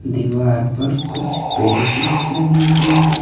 दीवार पर कुछ पेंटिंग्स लगी हुई है।